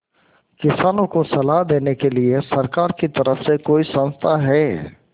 किसानों को सलाह देने के लिए सरकार की तरफ से कोई संस्था है